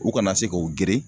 U kana se k'o geren